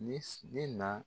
Ne ne na